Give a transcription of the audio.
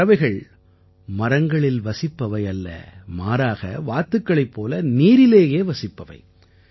இந்தப் பறவைகள் மரங்களில் வசிப்பவை அல்ல மாறாக வாத்துக்களைப் போல நீரிலேயே வசிப்பவை